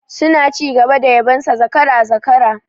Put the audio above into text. Suna ci gaba da yabon sa zakara, zakara